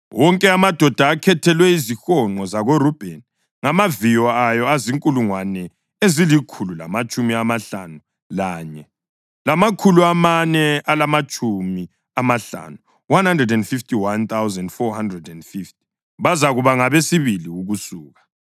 Wonke amadoda akhethelwe izihonqo zakoRubheni ngamaviyo awo azinkulungwane ezilikhulu lamatshumi amahlanu lanye, lamakhulu amane alamatshumi amahlanu (151,450). Bazakuba ngabesibili ukusuka.